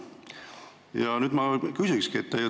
Ja nüüd ma küsingi.